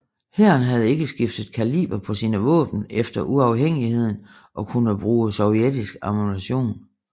Hæren havde ikke skiftet kaliber på sine våben efter uafhængigheden og kunne bruge sovjetisk ammunition